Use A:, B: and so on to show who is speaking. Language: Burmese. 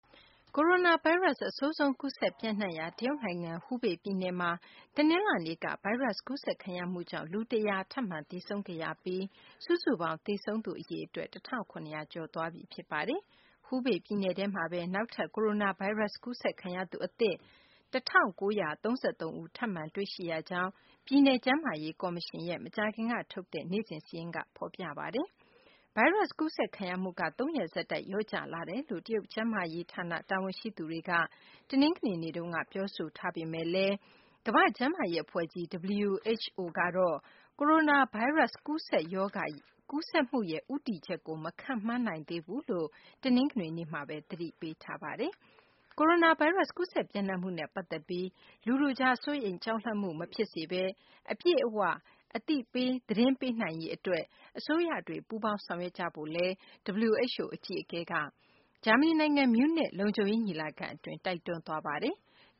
A: ကိုရိုနာဗိုင်းရပ်စ် အဆိုးဆုံး ကူးစက်ပျံ့နှံ့နေရာ တရုတ်နိုင်ငံ ဟူးဘေပြည်နယ်မှာ တနင်္လာနေ့က ဗိုင်းရပ်စ်ကူးစက်ခံရမှုကြောင့် လူ ၁၀၀ ထပ်မံ သေဆုံးခဲ့ပြီး စုစုပေါင်း သေဆုံးသူ အရေအတွက် ၁,၇၀၀ ကျော်သွားပြီ ဖြစ်ပါတယ်။ ဟူးဘေပြည်နယ်မှာပဲ နောက်ထပ် ကိုရိုနာဗိုင်းရပ်စ် ကူးစက်ခံရသူ အသစ် ၁,၉၃၃ ဦး ထပ်မံတွေ့ရှိရကြောင်း ပြည်နယ်ကျန်းမာရေး ကော်မရှင်ရဲ့ မကြာခင်ကထုတ်တဲ့ နေ့စဉ်စာရင်းမှာ ဖော်ပြထားပါတယ်။ ဗိုင်းရပ်စ်ကူးစက်ခံရမှုက သုံးရက်ဆက်တိုက် လျော့ကျလာတယ်လို့ တရုတ်ကျန်းမာရေးဌာန တာဝန်ရှိသူတွေက ပြောဆိုထားပေမယ့်လည်း ကမ္ဘာ့ကျန်းမာရေးအဖွဲ့ကြီး (WHO) ကတော့ ကိုရိုနာဗိုင်းရပ်စ် ကူးစက်ရောဂါရဲ့ ရှေ့အလားအလာကို မခန့်မှန်းနိုင်သေးဘူးလို့ တနင်္ဂနွေနေ့မှာပဲ သတိပေးထားပါတယ်။ ကိုရိုနာဗိုင်းရပ်စ် ကူးစက်ပျံ့နှံ့မှုနဲ့ ပတ်သက်ပြီး လူထုကြား စိုးရိမ်ကြောက်လန့်မှု မဖြစ်စေဘဲ အပြည့်အ၀ သတင်းပေးနိုင်ရေးအတွက် အစိုးရတွေ ပူးပေါင်းဆောင်ရွက်ကြဖို့လည်း WHO အကြီးအကဲက ဂျာမနီနိုင်ငံ မြူးနစ် လုံခြုံရေးညီလာခံအတွင်း တိုက်တွန်းသွားပါတယ်။